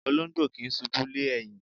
Olóńgbò kì í ṣùbú lé ẹ̀yìn.